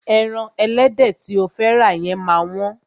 Ẹran ẹlẹ́dẹ̀ tí o fẹ́ rà yẹn máa wọ́n.